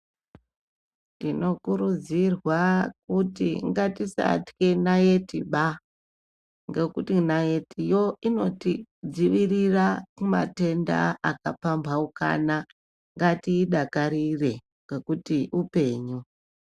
Tino kurudzirwa kuti ngatisatye naiti baa ngekuti naiti yoo inoti dzivirira ku matenda aka pambaukana ngatii idakarire ngekuti upenyu.